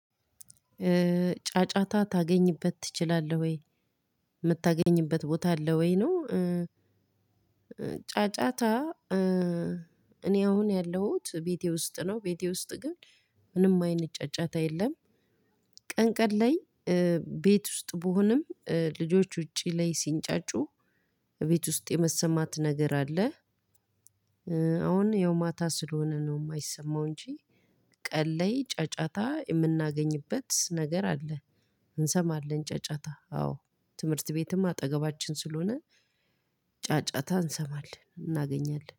ጫጫታ ታገኝበት ትችላለህ ወይ የምታገኝበት ቦታ አለ ወይ ነው? ጫጫታ እኔ አሁን ያለሁት ቤቴ ውስጥ ነው። ቤቴ ውስጥ ግን ምንም አይነት ጫጫታ የለም። ቀን ቀን ላይ ቤት ውስጥ ብሆንም ልጆች ውጪ ላይ ሲንጫጩ እቤት ውስጥ የመሰማት ነገር አለ። አሁን ያው ማታ ስለሆነ ነው የማይሰማው እንጂ ቀን ላይ ጫጫታ የምናገኝበት ነገር አለ። እንሰማለን ጫጫታ አዎ ትምህርት ቤትም አጠገባችን ስለሆነ ጫጫታ እንሰማለን እናገኛለን